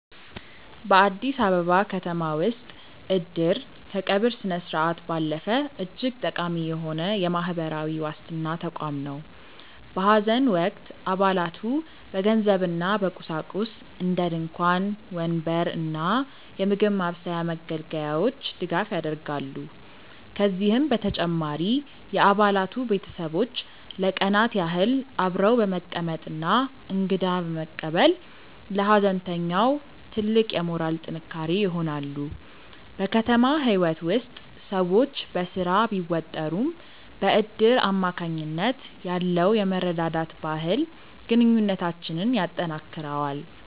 በአዲስ አበባ ከተማ ውስጥ "እድር" ከቀብር ስነስርዓት ባለፈ እጅግ ጠቃሚ የሆነ የማህበራዊ ዋስትና ተቋም ነው። በሐዘን ወቅት አባላቱ በገንዘብና በቁሳቁስ (እንደ ድንኳን፣ ወንበር እና የምግብ ማብሰያ መገልገያዎች) ድጋፍ ያደርጋሉ። ከዚህም በተጨማሪ የአባላቱ ቤተሰቦች ለቀናት ያህል አብረው በመቀመጥና እንግዳ በመቀበል ለሐዘንተኛው ትልቅ የሞራል ጥንካሬ ይሆናሉ። በከተማ ህይወት ውስጥ ሰዎች በስራ ቢወጠሩም፣ በእድር አማካኝነት ያለው የመረዳዳት ባህል ግንኙነታችንን ያጠናክረዋል።